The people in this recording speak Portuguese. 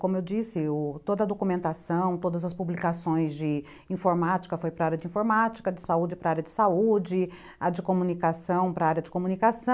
Como eu disse, u, toda a documentação, todas as publicações de informática foi para a área de informática, de saúde para a área de saúde, a de comunicação para a área de comunicação.